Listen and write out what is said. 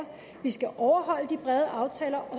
vi skal overholde de brede aftaler